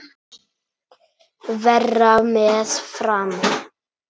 Verra með Fram.